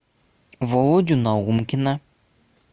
володю наумкина